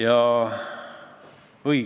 Tänan!